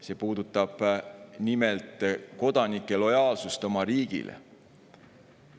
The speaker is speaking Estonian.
See puudutab nimelt kodanike lojaalsust oma riigile.